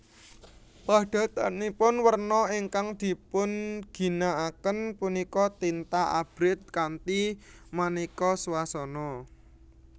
Padatanipun werna ingkang dipunginakaken punika tinta abrit kanthi maneka swasana